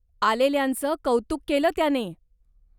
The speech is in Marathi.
आलेल्यांच कौतुक केलं त्याने.